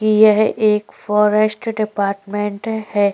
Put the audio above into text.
कि यह एक फॉरेस्ट डिपार्टमेंट है।